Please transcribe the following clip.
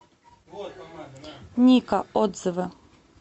ника отзывы